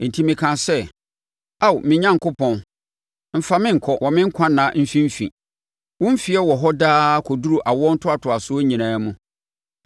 Enti mekaa sɛ, “Ao me Onyankopɔn, mfa me nkɔ, wɔ me nkwa nna mfimfini; wo mfeɛ wɔ hɔ daa kɔduru awoɔ ntoatoasoɔ nyinaa mu.